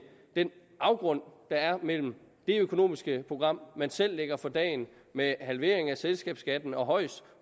den afgrund der er mellem det økonomiske program man selv lægger for dagen med halvering af selskabsskatten og højst